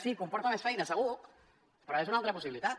sí comporta més feina segur però és una altra possibilitat